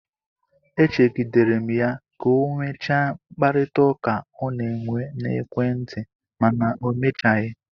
E chegidere m ya ka ọ nwechaa mkparịtaụka ọ na-enwe n'ekwentị, mana o mechaghị.